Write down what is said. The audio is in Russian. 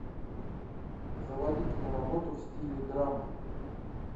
заводи киноработу в стиле драмы